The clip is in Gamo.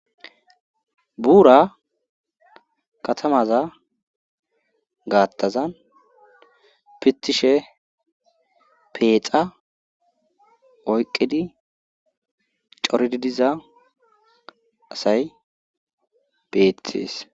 Buura katamaza gaattazan pittishe peexa oyqqidi corididiza asay beethes.